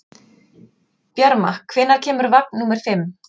Bjarma, hvenær kemur vagn númer fimm?